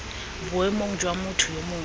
boemong jwa motho yo mongwe